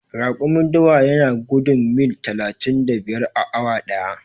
Raƙumin dawa yana gudun mil talatin da biyar a awa ɗaya.